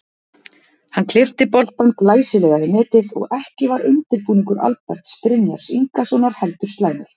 Hann klippti boltann glæsilega í netið og ekki var undirbúningur Alberts Brynjars Ingasonar heldur slæmur.